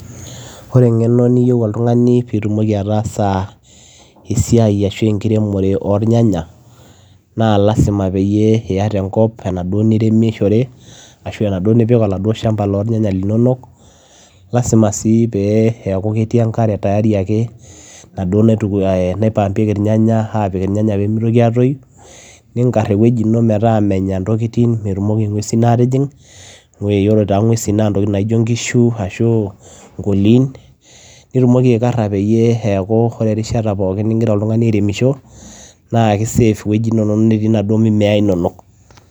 Ore eng'eno niyeu oltung'ani piitumoki ataasa esiai ashu enkiremore oornyanya naa lazima peyie iyata enkop enaduo niremishore ashu enaduo nipik oladuo shamba lornyanya linonok, lazima sii pee eeku ketii enkare tayari ake enaduo naitu naipampieki irnyanya aapik irnyanya pee mitoki aatoyu, niing'ar ewueji ino metaa menya ntokitin, metumoki ng'uesin aatijing'. Ore iyiolo taa ng'uesin naa ntokitin naijo inkishu ashu nkooli, nitumoki aikara peyie eeku ore erishata pookin ning'ira oltung'ani airemisho naake save wueji inonok natii naduo mimea inonok.